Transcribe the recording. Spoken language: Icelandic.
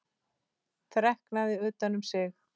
Þreknað utan um sig.